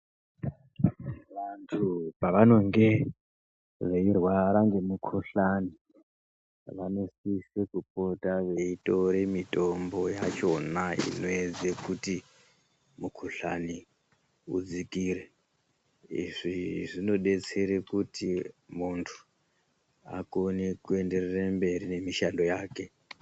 Vantu pavanonge veyirwara ngemikuhlani, vanosise kupota veyitore mitombo yachona inoyedze kuti mukuhlani udzikire uyezve zvinodetsere kuti muntu akone kuenderere mberi nemishando yake.